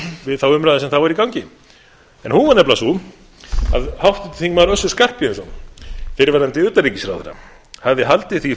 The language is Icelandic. við þá umræðu sem þá var í gangi en hún var nefnilega sú að háttvirtur þingmaður össur skarphéðinsson fyrir utanríkisráðherra hafði haldið því